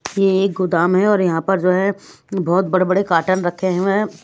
ये एक गोदाम है और यहां पर जो है बहोत बड़े बड़े कॉटन रखे हुए हैं।